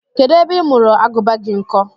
Kedụ ebe ị mụrụ Agụba gị nkọ?